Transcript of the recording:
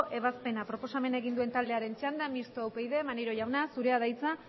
ebazpena proposamena egin duen taldearen txanda mistoa upyd maneiro jauna zurea da hitza